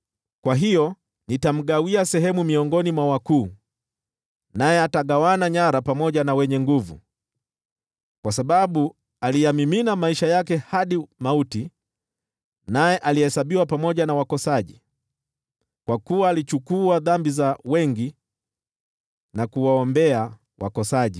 Kwa hiyo nitamgawia sehemu miongoni mwa wakuu, naye atagawana nyara pamoja na wenye nguvu, kwa sababu aliyamimina maisha yake hadi mauti, naye alihesabiwa pamoja na wakosaji. Kwa kuwa alichukua dhambi za wengi, na kuwaombea wakosaji.